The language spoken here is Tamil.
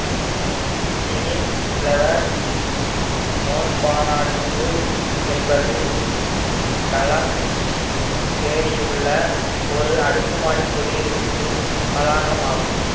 டிரீம் பிளவர் மோன்பாராடிசு என்பது களமசேரியிலுள்ள ஒரு அடுக்குமாடி குடியிருப்பு வளாகம் ஆகும்